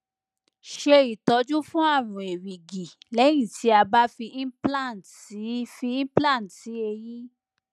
ṣe itọju fún àrùn erigi lẹyìn ti a ba fi implant si fi implant si eyín